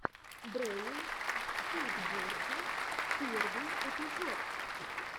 брэйл скейтбординг первый эпизод